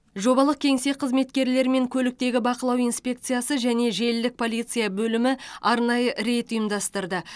жобалық кеңсе қызметкерлері мен көліктегі бақылау инспекциясы және желілік полиция бөлімі арнайы рейд ұйымдастырды